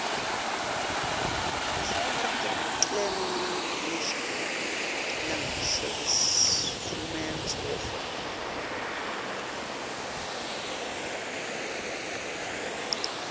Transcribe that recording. sswarticlenational language servicesumtsetfo